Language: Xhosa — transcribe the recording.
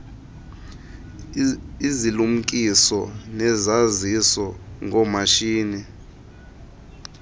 izilumkiso nezaziso ngoomatshini